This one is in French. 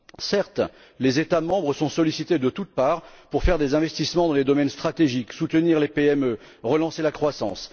Certes, les États membres sont sollicités de toute part pour réaliser des investissements dans les domaines stratégiques soutenir les PME, relancer la croissance.